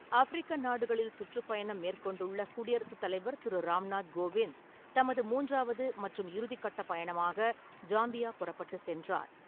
ஆஃப்பிரிக்க நாடுகளில் சுற்றுப்பயணம் மேற்கொண்டுள்ள குடியரசுத் தலைவர் திரு ராம்நாத் கோவிந்த் தமது மூன்றாவது மற்றும் இறுதிக்கட்ட பயணமாக ஜாம்பியா புறப்பட்டுச்சென்றார்.